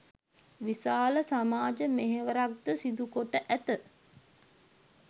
විශාල සමාජ මෙහෙවරක් ද සිදුකොට ඇත.